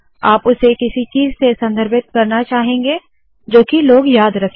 आप उसे किसी चीज़ से संदर्भित करना चाहोगे जोकि लोग याद रखे